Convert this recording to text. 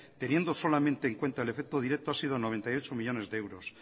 teniendo solamente en cuenta el efecto directo ha sido noventa y ocho millónes de euros